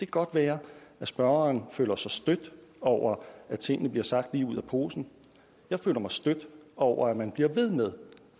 godt være at spørgeren føler sig stødt over at tingene bliver sagt lige ud af posen jeg føler mig stødt over at man bliver ved med